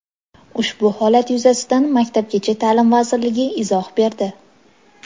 Ushbu holat yuzasidan Maktabgacha ta’lim vazirligi izoh berdi.